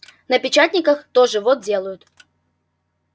на печатниках тоже вот делают